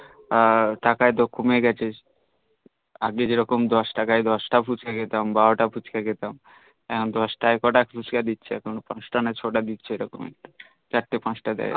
এ টাকা এতো কমে গিয়েছে আগে যেমন দস তাকাই দস্তা ফুচকা খেতাম বারতা ফুচকা খেতাম দস তাকাই কটা ফুচকা দিছহে এখন চারতে পাচতা দেয়